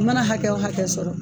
U mana hakɛ o hakɛ sɔrɔ